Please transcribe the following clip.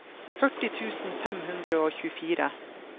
førti tusen fem hundre og tjuefire